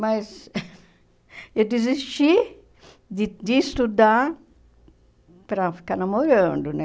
Mas eu desisti de de estudar para ficar namorando, né?